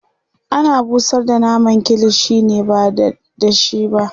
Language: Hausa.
ana busar da naman kilishi ne ba dada shi ba